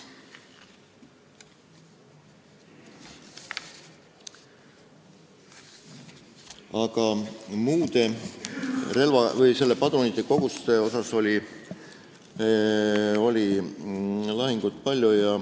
Aga padrunikoguste pärast oli lahingut palju.